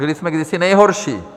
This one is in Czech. Byli jsme kdysi nejhorší.